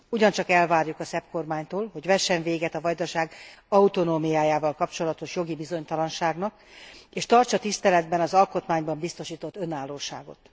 Ugyancsak elvárjuk a szerb kormánytól, hogy vessen véget a Vajdaság autonómiájával kapcsolatos jogi bizonytalanságnak, és tartsa tiszteletben az alkotmányban biztosított önállóságot.